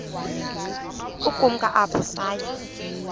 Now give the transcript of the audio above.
ukumka apho saya